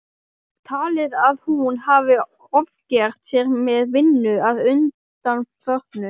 Talið að hún hafi ofgert sér með vinnu að undanförnu.